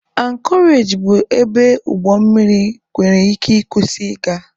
Ankọreji bụ ebe ụgbọ mmiri nwere ike ị kwụsị ị ga.